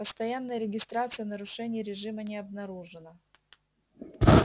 постоянная регистрация нарушений режима не обнаружено